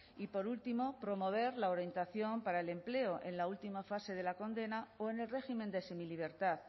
y por último promover la orientación para el empleo en la última fase de la condena o en el régimen de semilibertad